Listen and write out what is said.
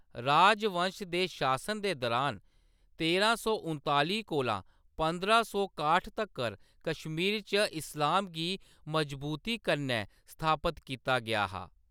राजवंश दे शासन दे दुरान, तेरां सौ उनतालीं कोला पंदरां सौ काह्ट तक्कर, कश्मीर च इस्लाम गी मजबूती कन्नै स्थापत कीता गेआ हा।